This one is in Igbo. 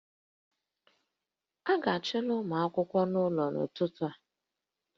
A ga-achụla ụmụ akwụkwọ a ụlọ n'ụtụtụ a